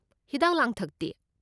ꯍꯤꯗꯥꯛ ꯂꯥꯡꯊꯛꯇꯤ?